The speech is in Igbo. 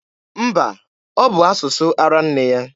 Mba, ọ bụ asụsụ ara nne ya.